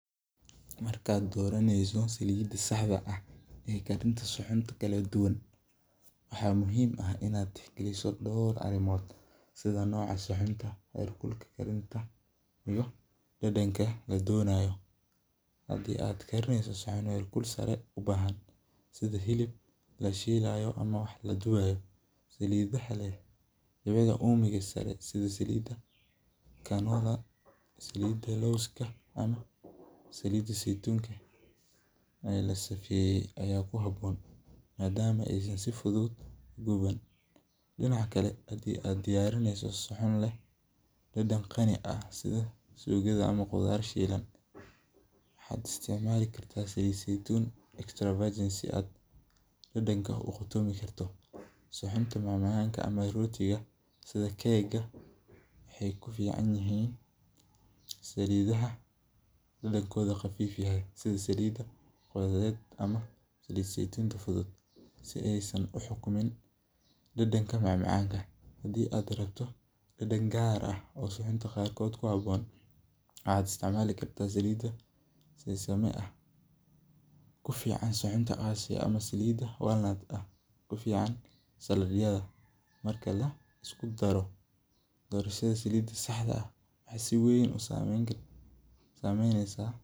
Markaad doraneyso saliida saxda, waxaa muhiim ah inaad tix galiso door wax yaaba, saliida zeitunka ayaa ku haboon madaama aay si fudud ugauban, hadii aad diyarineyso qudaar shiilan waxaad isticmaali kartaa saliid zeitun, saxunta macamacanka sida keeka waxeey ku fican yihiin saliidaha kuleelkooda qafiif yahay, hadii aad rabto dadan gaar ah, marka laisku daro dorashada saliida saxda waxeey si weyn usameyneysa.